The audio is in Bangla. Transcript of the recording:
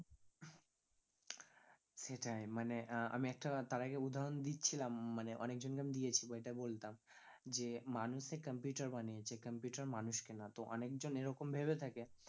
সেটাই, মানে আহ আমি একটা তার আগে উদহরণ দিচ্ছিলাম মানে অনেকজনকে আমি দিয়েছি বা এটা বলতাম যে মানুষে computer বানিয়েছে computer মানুষকে নয়, তো অনেকজন এরকম ভেবে থাকে